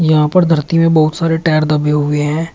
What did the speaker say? यहां पर धरती में बहुत सारे टायर दबे हुए हैं।